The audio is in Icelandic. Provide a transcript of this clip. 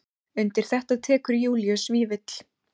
Undir þetta tekur Júlíus Vífill.